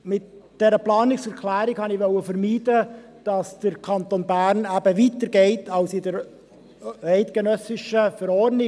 Mit dieser Planungserklärung wollte ich vermeiden, dass der Kanton Bern weitergeht als die eidgenössische Verordnung.